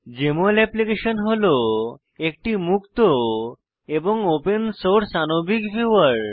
JML application হল একটি মুক্ত এবং ওপেন সোর্স আনবিক ভিউয়ার